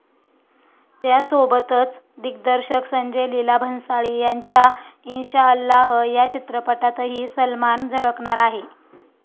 त्यासोबतच दिग्दर्शक संजय लीला भंसाळी यांच्या इंशाअल्लाह या चित्रपटातही सलमान झळकणार आहे.